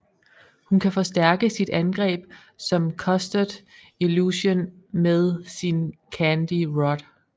Hun kan forstærke sit angreb som Custard Illusion med sin Candy Rod